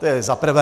To je za prvé.